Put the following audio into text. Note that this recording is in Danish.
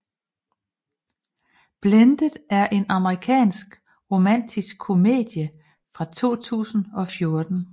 Blended er en amerikansk romantisk komedie fra 2014